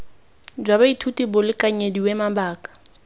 jwa baithuti bo lekanyediwe mabaka